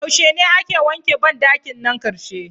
Yaushe ne ake wanke ban dakin nan karshe?.